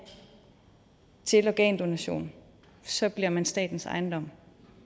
til organdonation så bliver man statens ejendom